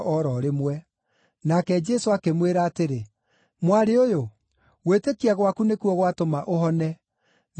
Nake Jesũ akĩmwĩra atĩrĩ, “Mwarĩ ũyũ, gwĩtĩkia gwaku nĩkuo gwatũma ũhone. Thiĩ na thayũ.”